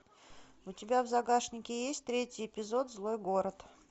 у тебя в загашнике есть третий эпизод злой город